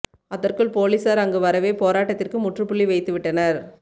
அதற்குள் போலீசார் அங்கு வரவே போராட்டத்திற்கு முற்றுபுள்ளி வைத்துவிட்டனர்